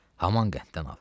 haman qəntdən al.